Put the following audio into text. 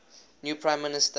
new prime minister